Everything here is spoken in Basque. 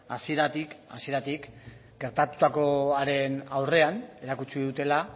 hasieratik hasieratik gertatutakoaren aurrean erakutsi dutela